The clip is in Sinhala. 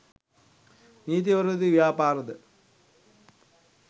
නීති විරෝධී ව්‍යාපාරද